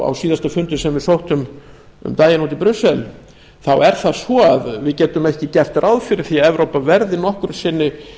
síðasta fundi sem við sóttum um daginn út í brussel er það svo að við getum ekki gert ráð fyrir að evrópa verði nokkru sinni